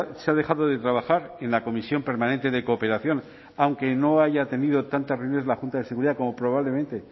se ha dejado de trabajar en la comisión permanente de cooperación aunque no haya tenido tantas reuniones la junta de seguridad como probablemente